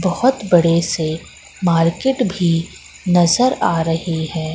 बहोत बड़े से मार्केट भी नजर आ रही है।